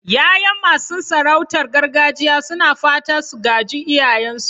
Yayan masu sarautar gargajiya suna fatan su gaji iyayensu.